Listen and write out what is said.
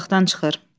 Otaqdan çıxır.